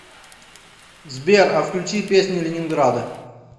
сбер а включи песни ленинграда